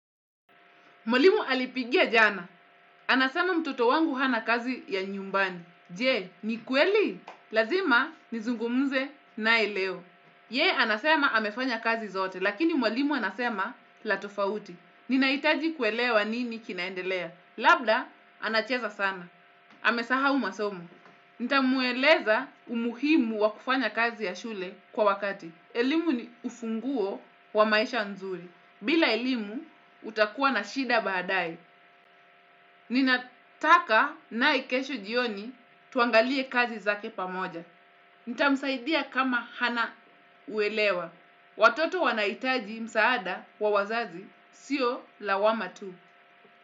Mwalimu alipigia jana. Anasema mtoto wangu hana kazi ya nyumbani. Jee, ni kweli? Lazima nizungumze naye leo. Yeye, anasema amefanya kazi zote, lakini mwalimu anasema la tofauti. Ninahitaji kuelewa nini kinaendelea. Labda, anacheza sana. Amesahau masomo. Nitamueleza umuhimu wakufanya kazi ya shule kwa wakati. Elimu ni ufunguo wa maisha nzuri. Bila elimu, utakuwa na shida baadye. Ninataka naye kesho jioni tuangalie kazi zake pamoja. Nitamsaidia kama hana uelewa. Watoto wanahitaji msaada wa wazazi, sio lawama tu.